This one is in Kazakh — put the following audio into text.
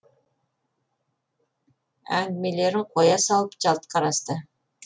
әңгімелерін қоя салып жалт қарасты